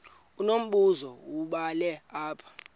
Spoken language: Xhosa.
unombuzo wubhale apha